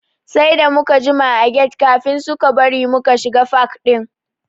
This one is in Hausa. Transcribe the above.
Sai da muka jima a get kafin suka bari muka shiga fak ɗin.